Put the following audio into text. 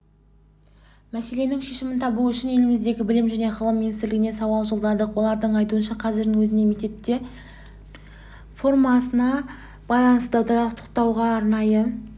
мәселенің шешімін табу үшін еліміздегі білім және ғылым министрлігіне сауал жолдадық олардың айтуынша қазірдің өзінде мектеп формасына байланысты дауды тоқтатуға арнайы